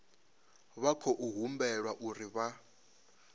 vha khou humbelwa uri vha